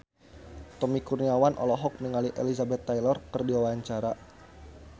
Tommy Kurniawan olohok ningali Elizabeth Taylor keur diwawancara